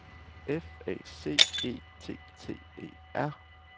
F A C E T T E R